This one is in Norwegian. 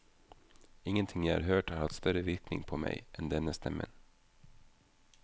Ingenting jeg har hørt har hatt større virkning på meg enn denne stemmen.